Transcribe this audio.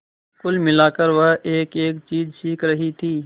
कुल मिलाकर वह एकएक चीज सीख रही थी